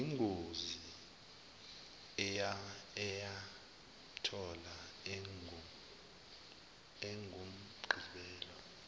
yingozi eyamthola engumgibeli